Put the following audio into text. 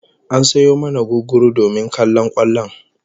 An sayo mana gugguru domin kallon kwallon